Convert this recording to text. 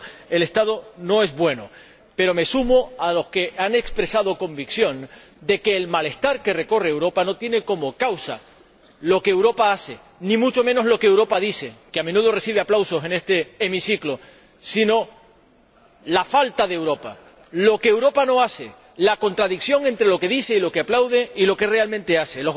Por tanto, el estado no es bueno, pero me sumo a los que han expresado su convicción de que el malestar que recorre Europa no tiene como causa lo que Europa hace, ni mucho menos lo que Europa dice que, a menudo, recibe aplausos en este hemiciclo sino la falta de Europa, lo que Europa no hace, la contradicción entre lo que dice y lo que aplaude y lo que realmente hace.